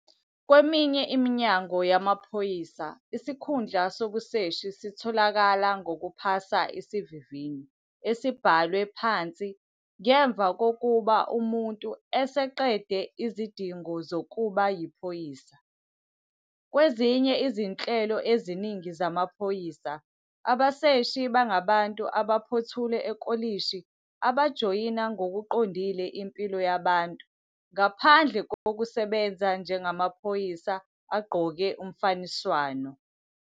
Kweminye iminyango yamaphoyisa isikhundla sobuseshi sitholakala ngokuphasa isivivinyo esibhalwe phansi ngemva kokuba umuntu eseqede izidingo zokuba yiphoyisa. Kwezinye izinhlelo eziningi zamaphoyisa, abaseshi bangabantu abaphothule ekolishi abajoyina ngokuqondile impilo yabantu ngaphandle kokusebenza njengamaphoyisa agqoke umfaniswano.